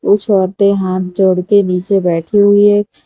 कुछ औरते हाथ जोड़के नीचे बैठी हुई है।